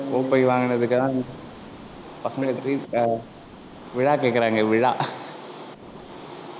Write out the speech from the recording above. கோப்பை வாங்குனதுக்காக, பசங்களுக்கு trea~ அஹ் விழா கேக்குறாங்க, விழா